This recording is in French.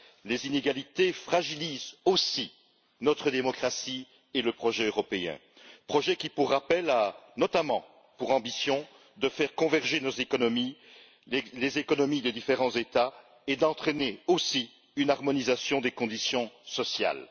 Les inégalités fragilisent aussi notre démocratie et le projet européen qui, pour rappel, a notamment pour ambition de faire converger les économies des différents États et d'entraîner aussi une harmonisation des conditions sociales.